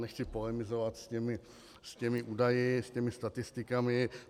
Nechci polemizovat s těmi údaji, s těmi statistikami.